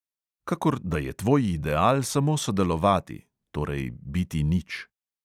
Kakor da je tvoj ideal samo sodelovati ... torej biti nič.